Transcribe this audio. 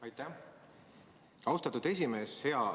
Aitäh, austatud esimees!